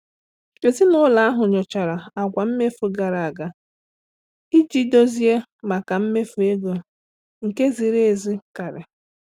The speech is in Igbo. Ezinụlọ ahụ nyochara àgwà mmefu gara aga iji dozie maka mmefu ego nke ziri ezi karị.